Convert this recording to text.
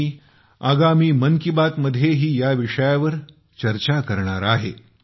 मी आगामी 'मन की बात'मध्येही या विषयावर चर्चा करणार आहे